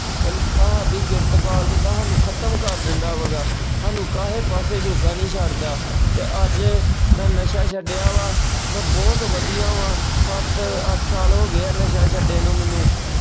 ਤੁਹਾਡੀ ਗੈਰਤ ਗਾਲ ਦਿੰਦਾ ਤੁਹਾਨੂੰ ਖ਼ਤਮ ਕਰ ਦਿੰਦਾ ਵਾ ਗਾ, ਸਾਨੂੰ ਕਾਸੇ ਪਾਸੇ ਜੋਗਾ ਨਹੀਂ ਛੱਡਦਾ ਤੇ ਅੱਜ ਮੈਂ ਨਸ਼ਾ ਛੱਡਿਆ ਵਾ ਮੈਂ ਬਹੁਤ ਵਧੀਆ ਵਾ। ਸੱਤ ਅਹ ਅੱਠ ਸਾਲ ਹੋ ਗਏ ਆ ਨਸ਼ਾ ਛੱਡੇ ਨੂੰ ਮੈਨੂੰ।